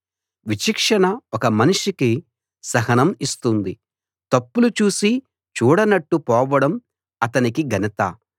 విచక్షణ ఒక మనిషికి సహనం ఇస్తుంది తప్పులు చూసీ చూడనట్టు పోవడం అతనికి ఘనత